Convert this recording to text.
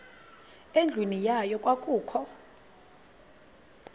endlwini yayo kwakukho